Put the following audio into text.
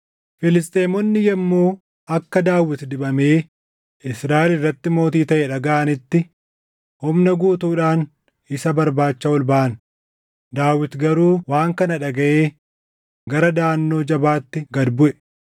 Filisxeemonni yommuu akka Daawit dibamee Israaʼel irratti mootii taʼe dhagaʼanitti, humna guutuudhaan isa barbaacha ol baʼan; Daawit garuu waan kana dhagaʼee gara daʼannoo jabaatti gad buʼe.